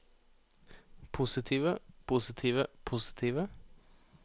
positive positive positive